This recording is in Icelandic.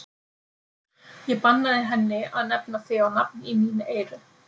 Ég bannaði henni að nefna þig á nafn í mín eyru.